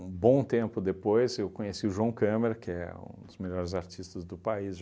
Um bom tempo depois, eu conheci o João Câmara, que é um dos melhores artistas do país.